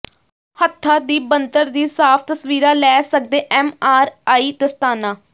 ਹੱਥਾਂ ਦੀ ਬਣਤਰ ਦੀ ਸਾਫ਼ ਤਸਵੀਰਾਂ ਲੈ ਸਕਦੈ ਐਮਆਰਆਈ ਦਸਤਾਨਾ